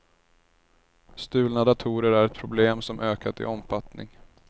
Stulna datorer är ett problem som ökat i omfattning.